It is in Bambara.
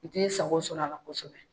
Ni bɛ sago sɔrɔ a la kosɛbɛ.